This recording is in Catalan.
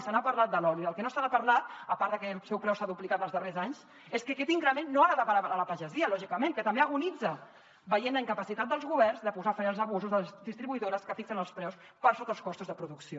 se n’ha parlat de l’oli del que no s’ha parlat a part de que el seu preu s’ha duplicat els darrers anys és que aquest increment no ha anat a parar a la pagesia lògicament que també agonitza veient la incapacitat dels governs de posar fre als abusos de les distribuïdores que fixen els preus per sota els costos de producció